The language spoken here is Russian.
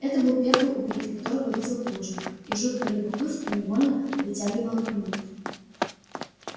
это был первый убитый которого видел плужников и жуткое любопытство невольно притягивало к нему